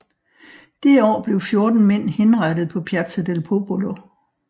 Det år blev fjorten mænd henrettet på Piazza del Popolo